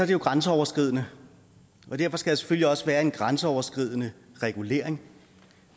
det jo grænseoverskridende og derfor skal der selvfølgelig også være en grænseoverskridende regulering